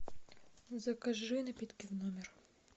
закажи напитки в номер